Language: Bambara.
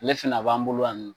Ale fɛna, a b'an bolo yan nɔ